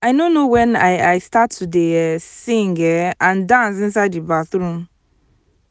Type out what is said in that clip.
i no know wen i i start to dey um sing um and dance inside the bathroom